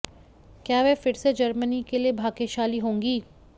क्या वह फिर से जर्मनी के लिए भाग्यशाली होंगी